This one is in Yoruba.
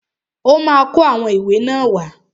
Ọ́ ma kó àwọn ìwé náà wá.